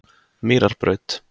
Mýrarbraut